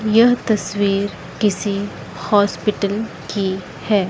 यह तस्वीर किसी हॉस्पिटल की है।